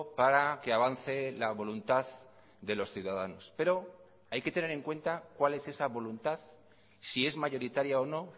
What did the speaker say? para que avance la voluntad de los ciudadanos pero hay que tener en cuenta cuál es esa voluntad si es mayoritaria o no